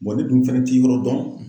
ne dun fɛnɛ ti yɔrɔ dɔn.